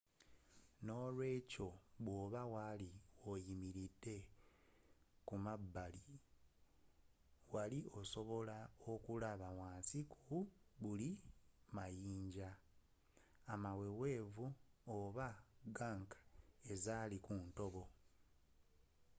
nolwekyo bwoba wali oyimiridde ku mabbali wali sobodde okulaba wansi ku buli mayinja amawewevu oba gunk ezali ku ntobo